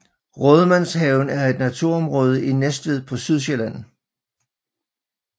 Rådmandshaven er et naturområde i Næstved på Sydsjælland